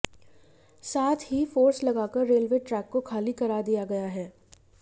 साथ ही फोर्स लगाकर रेलवे ट्रैक को खाली करा दिया गया है